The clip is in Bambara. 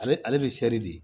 Ale ale bɛ seri de